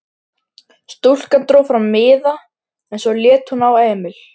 Stúlkan dró fram miða en svo leit hún á Emil.